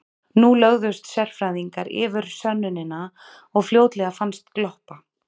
Nú lögðust sérfræðingar yfir sönnunina og fljótlega fannst gloppa.